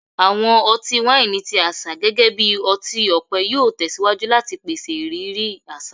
Awọn ọti-waini ti aṣa gẹgẹbi ọti-ọpẹ yoo tẹsiwaju lati pese iriri aṣa